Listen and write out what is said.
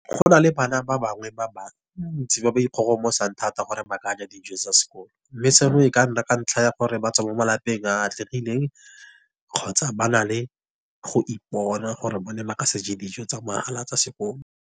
Go na le bana ba bangwe ba bantsi ba ba ikgogomosang thata gore ba ka ja dijo tsa sekolo. Mme seno e ka nna ka ntlha ya gore batswa mo malapeng a atlegileng, kgotsa ba na le go ipona gore bone ba ka se je dijo tsa mohala tsa sekolo.